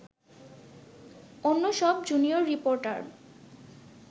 অন্যসব junior reporter